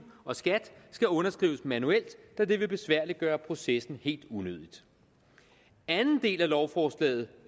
og skat skal underskrives manuelt da det vil besværliggøre processen helt unødigt i anden del af lovforslaget